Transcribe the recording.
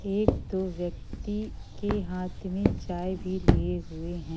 एक दो व्यक्ति के हाथ में चाय भी लिये हुये हैं।